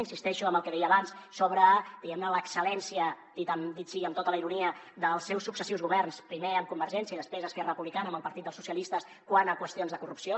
insisteixo en el que deia abans sobre diguem ne l’ excel·lència dit sigui amb tota la ironia dels seus successius governs primer amb convergència i després esquerra republicana amb el partit dels socialistes quant a qüestions de corrupció